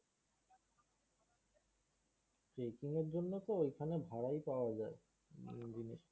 trecking এর জন্য তো ওখানে ভাড়াই পাওয়া যায়।